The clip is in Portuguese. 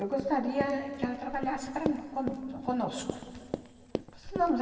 Eu gostaria que ela trabalhasse para nó cono conosco. não, mas